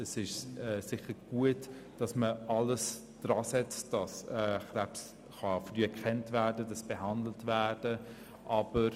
Es ist sicher gut, alles daran zu setzen, dass Krebs früh erkannt und behandelt werden kann.